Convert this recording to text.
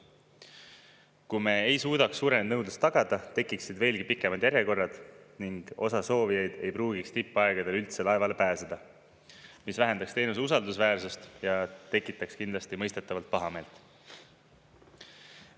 Kui me ei suudaks suurenenud nõudlust tagada, tekiksid veelgi pikemad järjekorrad ning osa soovijaid ei pruugiks tippaegadel üldse laevale pääseda, mis vähendaks teenuse usaldusväärsust ja tekitaks kindlasti mõistetavalt pahameelt.